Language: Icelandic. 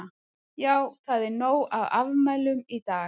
Já það er nóg af afmælum í dag.